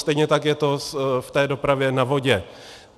Stejně tak je to v té dopravě na vodě.